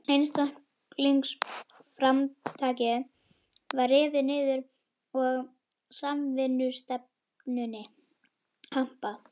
Einstaklingsframtakið var rifið niður og samvinnustefnunni hampað.